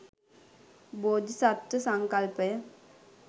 බෝධිසත්ත්ව සංකල්පය